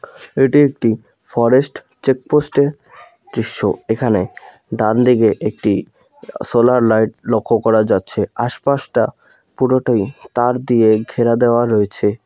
এটি একটি forest check পোস্টের দৃশ্য এখানে ডানদিকে একটি সোলার লাইট লক্ষ করা যাচ্ছে আশপাশটা পুরোটাই তার দিয়ে ঘেরা দেওয়া রয়েছে।